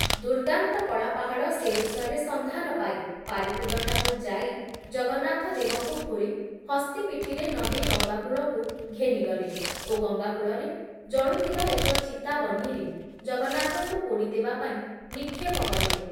ଦୁର୍ଦ୍ଦାନ୍ତ କଳାପାହାଡ଼ ସେ ବିଷୟରେ ସନ୍ଧାନ ପାଇ ପାରିକୁଦଠାକୁ ଯାଇ ଜଗନ୍ନାଥ ଦେବଙ୍କୁ ଖୋଳି ହସ୍ତୀ ପିଠିରେ ନଦି ଗଂଗାକୂଳକୁ ଘେନିଗଲେ ଓ ଗଂଗାକୂଳରେ ଜଳୁଥିବା ଏକ ଚିତା ବହ୍ନିରେ ଜଗନ୍ନାଥଙ୍କୁ ପୋଡ଼ି ଦେବାପାଇଁ ନିକ୍ଷେପ କଲେ ।